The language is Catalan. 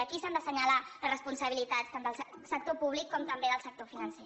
aquí s’han d’assenyalar les responsabilitats tant del sector públic com també del sector financer